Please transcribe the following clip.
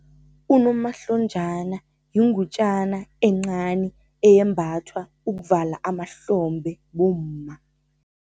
Unomahlonjana yingutjana encani, eyembathwa ukuvala amahlombe bomma.